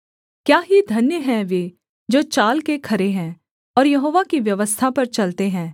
क्या ही धन्य हैं वे जो चाल के खरे हैं और यहोवा की व्यवस्था पर चलते हैं